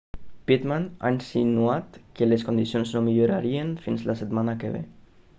pittman ha insinuat que les condicions no millorarien fins la setmana que ve